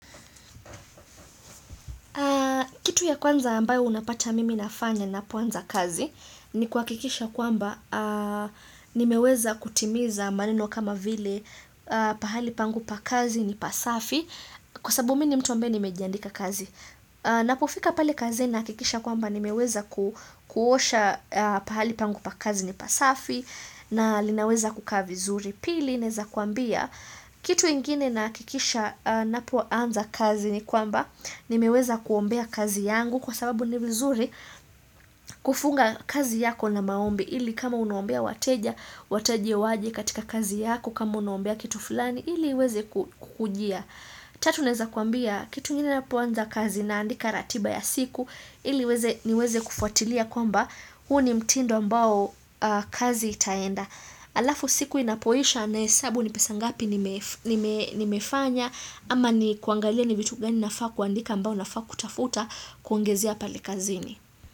Kitu ya kwanza ambayo unapata mimi nafanya na kwanza kazi ni kuhakikisha kwamba nimeweza kutimiza maneno kama vile pahali pangu pa kazi ni pasafi kwa sabu mimi ni mtu ambaye nimejandika kazi. Ninapofika pale kazi nahakikisha kwamba ni meweza kuosha pahali pangu pa kazi ni pasafi na linaweza kukaa vizuri Pili neza kuambia kitu ingine nahakikisha ninapo anza kazi ni kwamba Nimeweza kuombea kazi yangu kwa sababu ni vizuri kufunga kazi yako na maombi ili kama unuombea wateja, wateja waje katika kazi yako kama unuombea kitu fulani, ili weze kukujia Tatu naweza kuambia kitu ingine ninapoanza kazi naandika ratiba ya siku ili iweze niweze kufuatilia kwamba huu ni mtindo ambao kazi itaenda. Alafu siku inapoisha na hesabu ni pesa ngapi nimefanya ama ni kuangalia ni vitu gani nafaa kuandika mbao nafaa kutafuta kuongezea pale kazini.